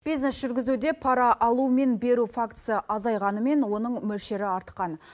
бизнес жүргізуде пара алу мен беру фактісі азайғанымен оның мөлшері артқан